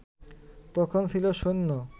তখন ছিল শুন্য